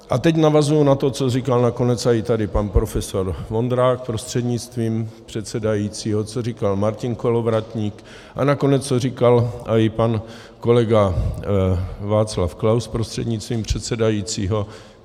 A teď navazuji na to, co říkal nakonec i tady pan profesor Vondrák prostřednictvím předsedajícího, co říkal Martin Kolovratník a nakonec co říkal i pan kolega Václav Klaus prostřednictvím předsedajícího.